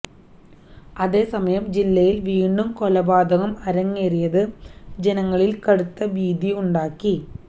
അതേസമയം ജില്ലയിൽ വീണ്ടും കൊലപാതകം അരങ്ങേറിയത് ജനങ്ങളിൽ കടുത്ത ഭീതി ഉണ്ടാക്കി